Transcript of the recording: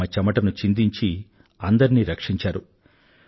తమ చెమటను చిందించి అందరినీ రక్షించారు